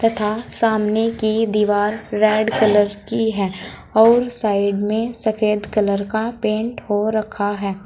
तथा सामने की दीवार रेड कलर की है और साइड में सफेद कलर का पेंट हो रखा है।